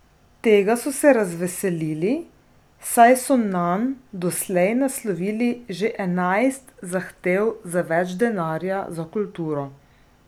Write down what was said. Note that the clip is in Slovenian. Tega so se razveselili, saj so nanj doslej naslovili že enajst zahtev za več denarja za kulturo.